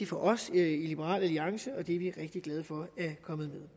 for os i liberal alliance og det er vi rigtig glade for er kommet med